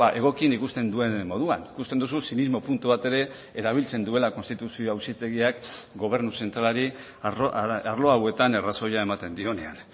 egokien ikusten duen moduan ikusten duzu zinismo puntu bat ere erabiltzen duela konstituzio auzitegiak gobernu zentralari arlo hauetan arrazoia ematen dionean